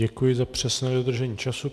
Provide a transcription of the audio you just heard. Děkuji za přesné dodržení času.